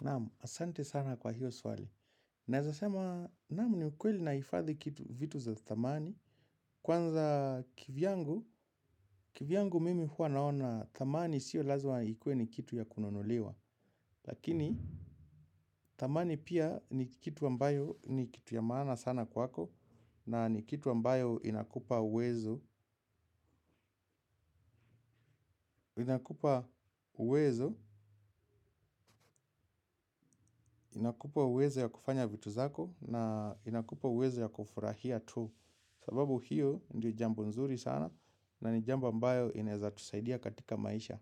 Naam, asante sana kwa hiyo swali. Naezasema, naam ni ukweli naifadhi kitu vitu za thamani. Kwanza kivyangu, kivyangu mimi hua naona thamani sio lazma ikue ni kitu ya kununuliwa. Lakini, thamani pia ni kitu ambayo ni kitu ya maana sana kwako. Na ni kitu ambayo inakupa uwezo. Inakupa uwezo, inakupa uwezo ya kufanya vitu zako, na inakupa uwezo ya kufurahia tu. Sababu hiyo ndio jambo nzuri sana na ni jambo mbayo inaeza tusaidia katika maisha.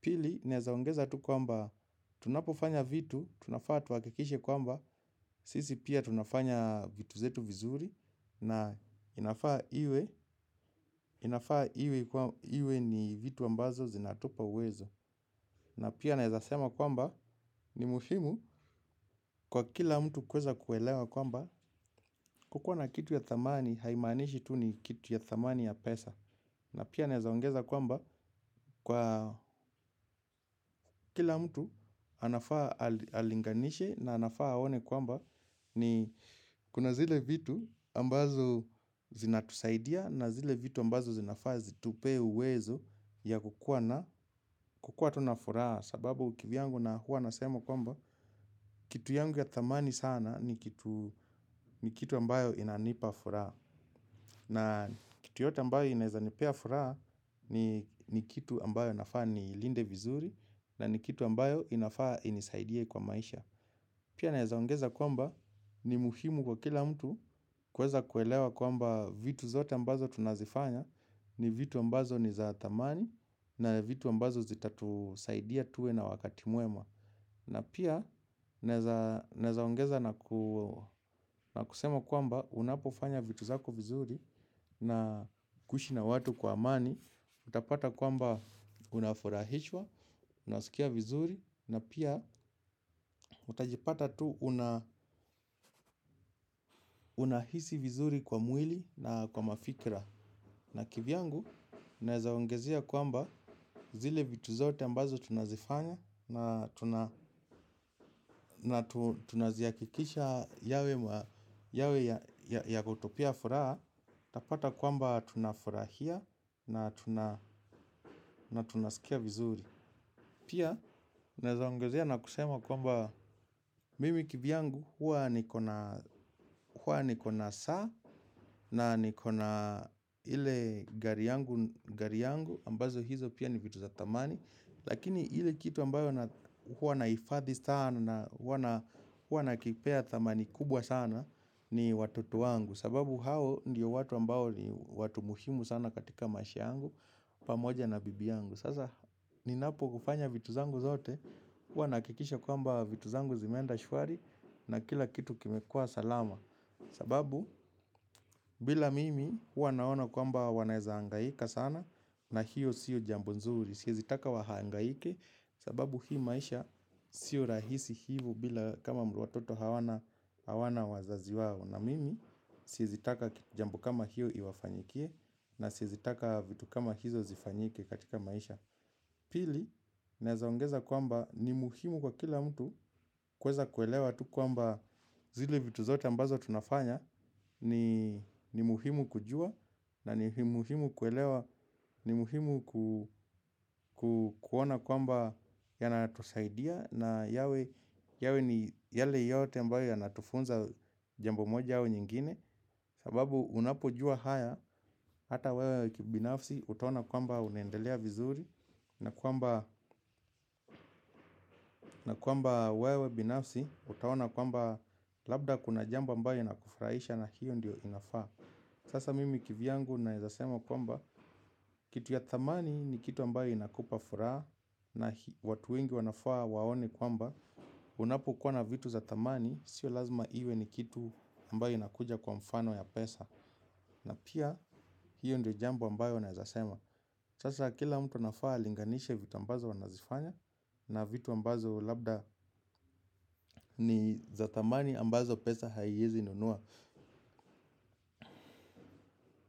Pili naeza ongeza tu kwamba tunapofanya vitu, tunafaa tuakikishe kwamba sisi pia tunafanya vitu zetu vizuri na inafaa iwe inafaa iwe ni vitu ambazo zinatupa uwezo. Na pia naeza sema kwamba ni muhimu kwa kila mtu kweza kuelewa kwamba kukua na kitu ya thamani haimanishi tu ni kitu ya thamani ya pesa. Na pia naeza ongeza kwamba kwa kila mtu anafaa alinganishe na anafaa aone kwamba ni kuna zile vitu ambazo zinatusaidia na zile vitu ambazo zinafaa zitupee uwezo ya kukua na kukua tu na furaha sababu kivyangu na huwa nasema kwamba kitu yangu ya thamani sana ni kitu ni kitu ambayo inanipa furaa. Na kitu yote ambayo inaeza nipea furaha ni kitu ambayo nafaa niilinde vizuri na ni kitu ambayo inafaa inisaidie kwa maisha. Pia naezaongeza kwamba ni muhimu kwa kila mtu kweza kuelewa kwamba vitu zote ambazo tunazifanya ni vitu ambazo ni za thamani na vitu ambazo zitatusaidia tuwe na wakati mwema. Na pia naezaongeza na kusema kwamba unapofanya vitu zako vizuri na kuishi na watu kwa amani, utapata kwamba unafurahishwa, unasikia vizuri na pia utajipata tu una unahisi vizuri kwa mwili na kwa mafikra. Na kivyangu, naezaongezea kwamba zile vitu zote ambazo tunazifanya na tuna na tunaziakikisha yawe ya kutupea furaha, tapata kwamba tunafurahia na tunasikia vizuri. Pia, naezaongezea na kusema kwamba mimi kivyangu huwa niko na saa na nikona ile gari yangu ambazo hizo pia ni vitu za thamani. Lakini ile kitu ambayo huwa nahifadhi sana huwa na kipea thamani kubwa sana ni watoto wangu. Sababu hao ndio watu ambao ni watu muhimu sana katika mashia yangu pamoja na bibi yangu. Sasa ninapo kufanya vitu zangu zote huwa naakikisha kwamba vitu zangu zimeenda shwari. Na kila kitu kimekua salama. Sababu bila mimi huwa naona kwamba wanaeza angaika sana. Na hiyo siyo jambo nzuri siezi taka wahangaike. Sababu hii maisha siyo rahisi hivo bila kama watoto hawana wazazi wao na mimi siezi taka jambo kama hiyo iwafanyikie. Na siezi taka vitu kama hizo zifanyike katika maisha. Pili, naezaongeza kwamba ni muhimu kwa kila mtu kweza kuelewa tu kwamba zile vitu zote ambazo tunafanya ni muhimu kujua na ni muhimu kuelewa ni muhimu kuona kwamba yanatusaidia na yawe ni yale yote ambayo ya natufunza jambo moja au nyingine. Sababu unapojua haya hata wewe kibinafsi utaona kwamba unaendelea vizuri na kwamba na kwamba wewe binafsi utaona kwamba labda kuna jambo mbayo inakufraisha na hiyo ndio inafaa sasa mimi kivyangu naezasema kwamba kitu ya thamani ni kitu ambayo inakupa furaha na watu wengi wanafaa waone kwamba unapokuwa na vitu za thamani sio lazima iwe ni kitu ambayo inakuja kwa mfano ya pesa. Na pia hiyo ndio jambo ambayo naezasema sasa kila mtu anafaa alinganishe vitu ambazo anazifanya na vitu ambazo labda ni zathamani ambazo pesa haiezi nunua.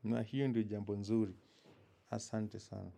Na hio ndio jambo nzuri asante sana.